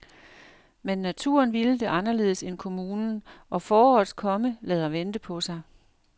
Men naturen ville det anderledes end kommunen, og forårets komme lader vente på sig.